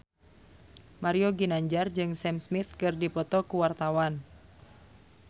Mario Ginanjar jeung Sam Smith keur dipoto ku wartawan